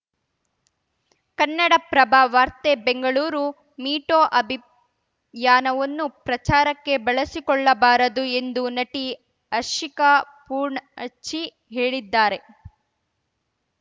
ಕನ್ನಡಪ್ರಭ ವಾರ್ತೆ Bengaluru me too ಅಭಿಪ್ ಯಾನವನ್ನು ಪ್ರಚಾರಕ್ಕೆ ಬಳಸಿಕೊಳ್ಳಬಾರದು ಎಂದು ನಟಿ ಹರ್ಷಿಕಾ ಪೂರ್ಣಚ್ಚಿ ಹೇಳಿದ್ದಾರೆ